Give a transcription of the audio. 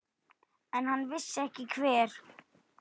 En hann vissi ekki hver.